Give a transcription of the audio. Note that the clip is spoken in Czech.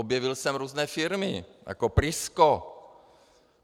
Objevil jsem různé firmy jako PRISKO.